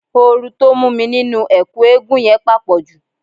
Ooru tó mú mi nínú ẹ̀kú eégún yẹn pàpọ̀jù